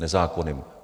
Nezákonným.